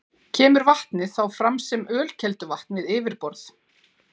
Kemur vatnið þá fram sem ölkelduvatn við yfirborð.